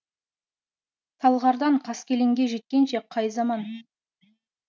талғардан қаскелеңге жеткенше қай заман